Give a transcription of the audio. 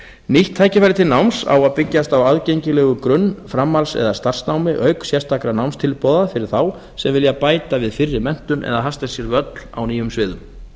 nýtt tækifæri til náms á að byggjast á aðgengilegu grunn framhalds eða starfsnámi auk sérstakra námstilboða fyrir þá sem vilja bæta við fyrri menntun eða hasla sér völl á nýjum sviðum